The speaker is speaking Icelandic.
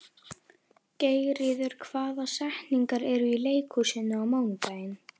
Geirríður, hvaða sýningar eru í leikhúsinu á mánudaginn?